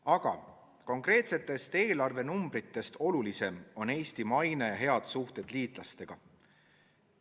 Aga konkreetsetest eelarvenumbritest olulisem on Eesti maine, hea läbisaamine liitlastega.